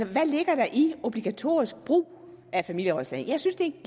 hvad ligger der i obligatorisk brug af familierådslagning jeg synes det